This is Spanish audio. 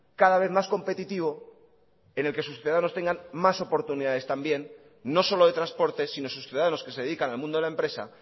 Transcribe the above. cada vez más competitivo en el que sus ciudadanos tengan más oportunidades también no solo de transporte sino sus ciudadanos que se dedican al mundo de la empresa